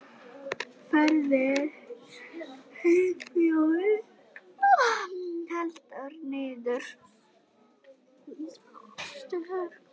Ferðir Herjólfs felldar niður